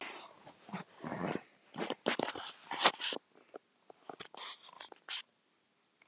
Er að hrynja til viðar.